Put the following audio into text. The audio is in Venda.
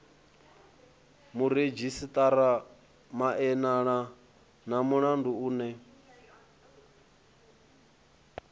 muredzhisitarara maelana na mulandu une